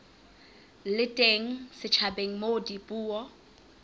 le teng setjhabeng moo dipuo